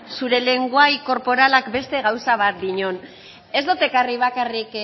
zure lengoai korporalak beste gauza bat dinon ez dut ekarri bakarrik